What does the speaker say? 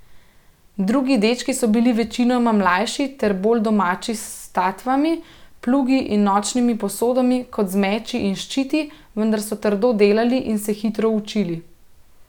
Drugi dečki so bili večinoma mlajši ter bolj domači s statvami, plugi in nočnimi posodami kot z meči in ščiti, vendar so trdo delali in se hitro učili.